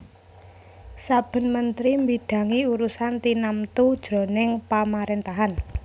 Saben mentri mbidangi urusan tinamtu jroning pamaréntahan